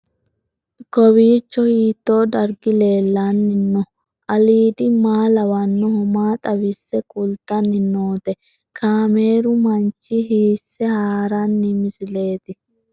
Kowiicho hiito dargi leellanni no ? ulayidi maa lawannoho ? maa xawisse kultanni noote ? kaameru manchi hiisse haarino misileeti?